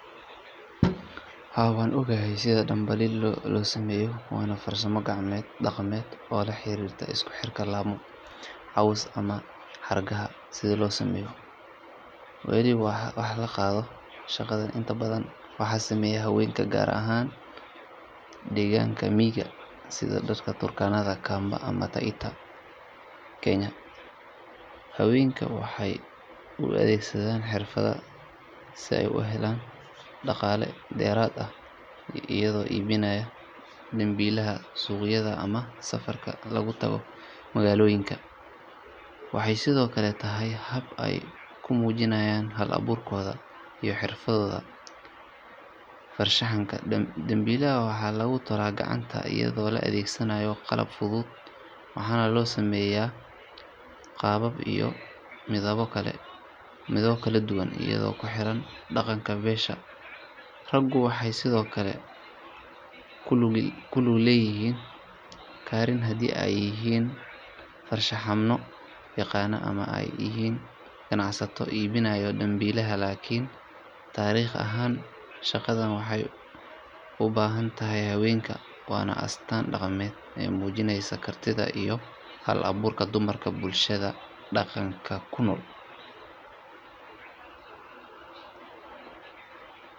Haa waan ogahay sida dambiilaha loo sameeyo waana farsamo gacmeed dhaqameed oo la xiriirta isku xirka laamo, caws ama xargaha si loo sameeyo weel wax lagu qaado. Shaqadan inta badan waxaa sameeya haweenka gaar ahaan deegaanada miyiga sida dadka Turkana, Kamba ama Taita ee Kenya. Haweenka waxay u adeegsadaan xirfaddan si ay u helaan dhaqaale dheeraad ah iyagoo iibinaya dambiilaha suuqyada ama safarka lagu tago magaalooyinka. Waxay sidoo kale tahay hab ay ku muujiyaan hal-abuurkooda iyo xirfadooda farshaxanka. Dambiilaha waxaa lagu tolaa gacanta iyadoo la adeegsanayo qalab fudud waxaana loo sameeyaa qaabab iyo midabbo kala duwan iyadoo ku xiran dhaqanka beesha. Raggu waxay sidoo kale ku lug yeelan karaan haddii ay yihiin farshaxanno yaqaan ama ay yihiin ganacsato iibgeeya dambiilaha. Laakiin taariikh ahaan shaqadan waxay u badan tahay haweenka waana astaan dhaqameed muujinaysa kartida iyo hal-abuurka dumarka bulshooyinka dhaqanka ku nool.